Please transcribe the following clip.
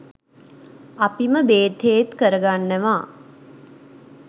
අපිම බේත් හේත් කරගන්නවා.